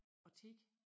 Og 10